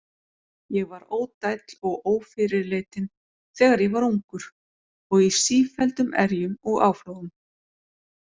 Ég var ódæll og ófyrirleitinn, þegar ég var ungur, og í sífelldum erjum og áflogum.